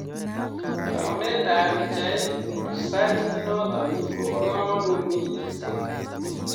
Taunet ab pichait reaserch inoto ko boo kamanutt mising